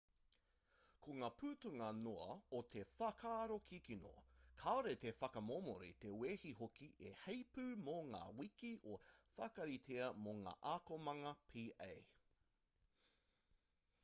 ko ngā putanga noa o te whakaaro kikino kāore te whakamomori te wehi hoki i heipū mō ngā wiki i whakaritea mō ngā akomanga pa